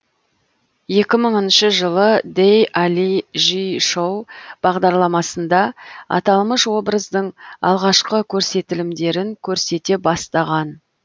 екі мыңышы жылы дэй али жи шоу бағдарламасында аталмыш образдың алғашқы көрсетілімдерін көрсете бастаған